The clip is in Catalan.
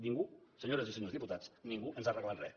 ningú senyores i senyors diputats ningú ens ha regalat res